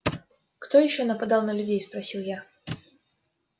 кто ещё нападал на людей спросил я